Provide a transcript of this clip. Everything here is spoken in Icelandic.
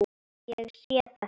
Ég sé þetta.